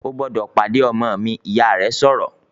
"O gbọ́dọ̀ pàdé ọmọ mi!", Ìyá rẹ̀ sọ̀rọ̀